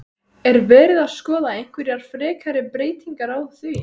Er verið að skoða einhverjar frekari breytingar á því?